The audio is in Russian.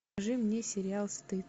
покажи мне сериал стыд